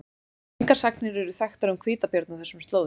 Engar sagnir eru þekktar um hvítabjörn á þessum slóðum.